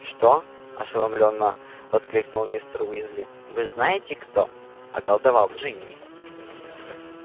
что ошеломлённо воскликнул мистер уизли вы знаете кто околдовал джинни